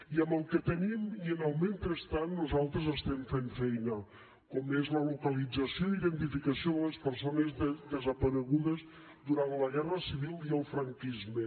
i amb el que tenim i en el mentrestant nosaltres estem fent feina com és la localització i identificació de les persones desaparegudes durant la guerra civil i el franquisme